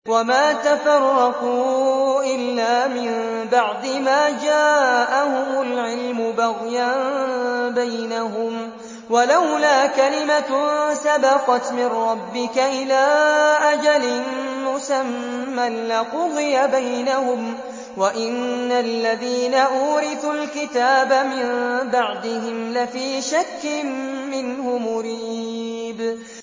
وَمَا تَفَرَّقُوا إِلَّا مِن بَعْدِ مَا جَاءَهُمُ الْعِلْمُ بَغْيًا بَيْنَهُمْ ۚ وَلَوْلَا كَلِمَةٌ سَبَقَتْ مِن رَّبِّكَ إِلَىٰ أَجَلٍ مُّسَمًّى لَّقُضِيَ بَيْنَهُمْ ۚ وَإِنَّ الَّذِينَ أُورِثُوا الْكِتَابَ مِن بَعْدِهِمْ لَفِي شَكٍّ مِّنْهُ مُرِيبٍ